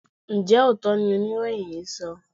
Ǹjẹ́ òótọ́ ni oníròyìn yìí ń sọ?